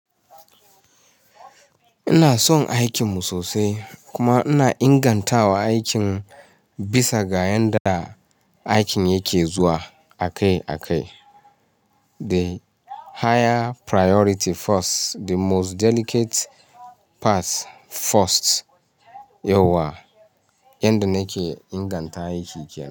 Ina son aikin mu sosai kuma ina ingantawa aikin bisa ga yanda aikin yake zuwa a kai a kai. The higher priority first, the most delicate pass irst, yauwa yanda nake inganta aiki kyallafiya.